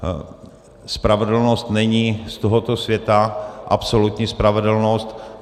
Spravedlnost není z tohoto světa, absolutní spravedlnost.